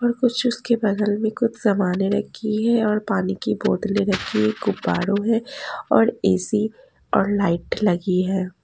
और कुछ उसके बगल में कुछ सामानें रखी हैं और पानी की बोतलें रखी हैं गुब्बारों में और ए_सी और लाइट लगी है।